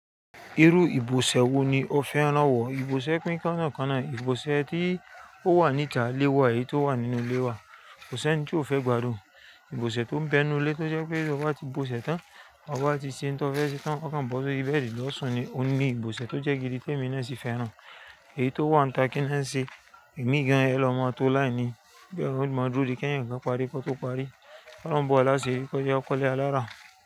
Irú ibùsẹ̀ wo ni o fẹ́ rán wọ? Ibùsẹ̀ kí ń kánna kánna. Ibùsẹ̀ tí ó wà níta ilé wa èyí tó wà nínú ilé wa. Ko se ni tí ó fẹ́ gbádùn. Ibùsẹ̀ tó ń bẹ nu ilé tó jẹ́ pé bí ọba ti ibùsẹ̀ tán, ọba ti ṣe ohun tó fẹ́ ṣe tán. O kan bọ́ sori bẹ̀dí ọ sún ní ohún ni. Ibùsẹ̀ tó jẹ́ gidi tẹ́mi náà sì fẹ́ràn. Èyí tó wà níta kí le n se ìmigàn ẹlòmo tó láé ni. Bí ó mo dúró di kẹ́yan kan, parí kọ tó parí. Ọ̀run bò wá lasìri kọjá kọ̀lé alára.